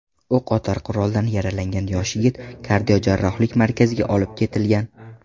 O‘qotar quroldan yaralangan yosh yigit kardiojarrohlik markaziga olib ketilgan.